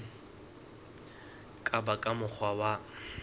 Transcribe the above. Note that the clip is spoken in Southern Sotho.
ka ba ka mokgwa wa